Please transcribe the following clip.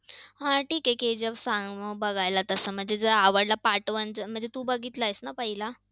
हां ठिक आहे. KGF सांग मग बघायला, तसा म्हणजे जर आवडला part one तू बघितलास ना तू पहिला?